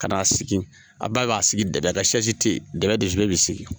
Ka na sigi a bɛɛ b'a sigi dɛbɛn kan te yen dɛbɛn be detu bi sigi.